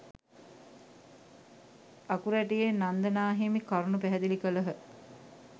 අකුරැටියේ නන්ද නා හිමි කරුණු පැහැදිලි කළහ.